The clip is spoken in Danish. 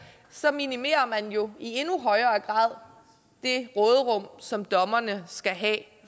så minimerer man jo i endnu højere grad det råderum som dommerne skal have